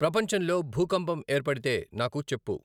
ప్రపంచంలో భూకంపం ఏర్పడితే నాకు చెప్పు